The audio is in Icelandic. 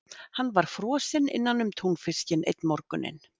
Hann var frosinn innanum túnfiskinn einn morguninn.